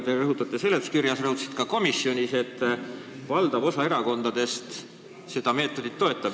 Te ütlete seletuskirjas ja sa rõhutasid ka komisonis, et valdav osa erakondadest seda meetodit toetab.